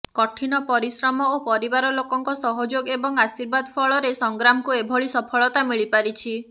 କଠିନ ପରିଶ୍ରମ ଓ ପରିବାର ଲୋକଙ୍କ ସହଯୋଗ ଏବଂ ଆର୍ଶିବାଦ ପଂଳରେ ସଂଗ୍ରାମଙ୍କୁ ଏଭଳି ସପଂଳତା ମିିଳିପାରିଛି